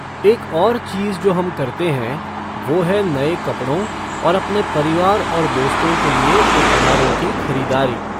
एक और चीज़ जो हम करते हैं वो है नए कपड़ों और अपने परिवार और दोस्तों के लिए उपहारों की ख़रीदारी।